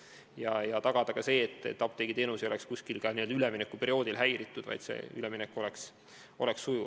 See aitaks tagada ka seda, et apteegiteenus poleks üleminekuperioodil kusagil häiritud, vaid see üleminek oleks sujuv.